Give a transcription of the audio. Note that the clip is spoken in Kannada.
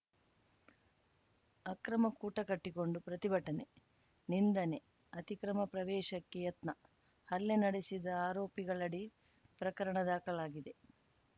ಅಕ್ರಮ ಕೂಟ ಕಟ್ಟಿಕೊಂಡು ಪ್ರತಿಭಟನೆ ನಿಂದನೆ ಅತಿಕ್ರಮ ಪ್ರವೇಶಕ್ಕೆ ಯತ್ನ ಹಲ್ಲೆ ನಡೆಸಿದ ಆರೋಪಿಗಳಡಿ ಪ್ರಕರಣ ದಾಖಲಾಗಿದೆ